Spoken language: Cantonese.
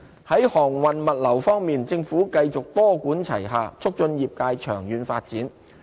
在航運物流業方面，政府繼續多管齊下促進業界長遠發展。